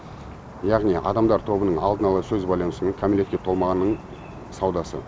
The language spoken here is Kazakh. яғни адамдар тобының алдын ала сөз байланысуы мен кәмелетке толмағанның саудасы